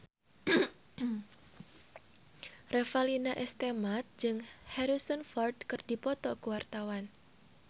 Revalina S. Temat jeung Harrison Ford keur dipoto ku wartawan